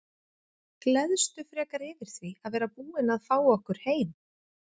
Gleðstu frekar yfir því að vera búinn að fá okkur heim.